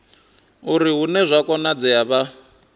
uri hune zwa konadzea vha